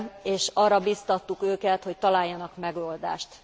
és arra biztattuk őket, hogy találjanak megoldást.